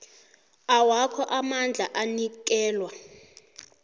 awakho amandla anikelwa